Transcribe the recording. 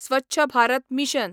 Swachh Bharat mission